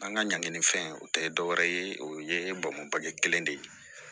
An ka ɲangini fɛn o tɛ dɔ wɛrɛ ye o ye bamakɔ ye kelen de ye